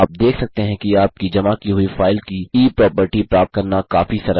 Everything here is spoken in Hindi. आप देख सकते हैं कि आपकी जमा की हुई फाइल की e प्रॉपर्टी प्राप्त करना काफी सरल है